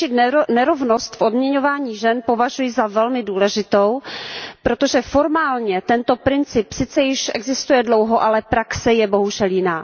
Řešit nerovnost v odměňování žen považuji za velmi důležité, protože formálně tento princip sice již existuje dlouho, ale praxe je bohužel jiná.